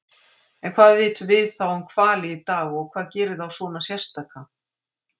En hvað vitum við þá um hvali í dag og hvað gerir þá svona sérstaka?